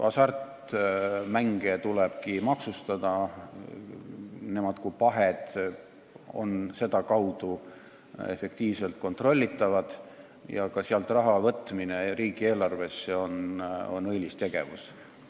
Hasartmänge tulebki maksustada: need kui pahed on sedakaudu efektiivselt kontrollitavad ja ka sealt raha riigieelarvesse võtmine on õilis tegevus.